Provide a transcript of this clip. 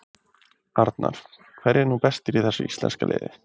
Arnar: Hverjir eru nú bestir í þessu íslenska liði?